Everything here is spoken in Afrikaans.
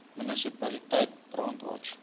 munisipaliteit brandwatch